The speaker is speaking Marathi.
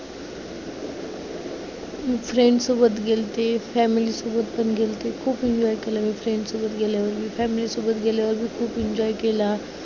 मी friends सोबत गेलते, family सोबत पण गेलते. खूप enjoy केला मी friends सोबत गेलेवेळी. family सोबत गेल्यावर मी खूप enjoy केला.